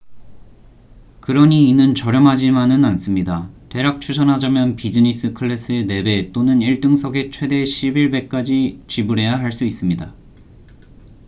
그러니 이는 저렴하지만은 않습니다 대략 추산하자면 비지니스 클래스의 4배 또는 일등석의 최대 11배까지 지불해야 할 수 있습니다